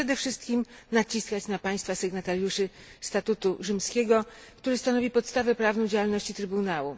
Przede wszystkich naciskać na państwa sygnatariuszy statutu rzymskiego, który stanowi podstawę prawną działalności trybunału.